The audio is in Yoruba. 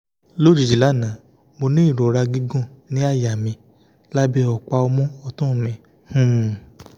lójijì lánàá mo ní ìrora gígùn ní àyà mi lábẹ́ ọ̀pá ọmú ọ̀tun mi um